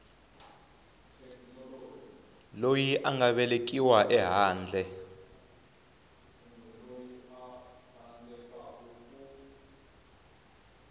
loyi a nga velekiwa ehandle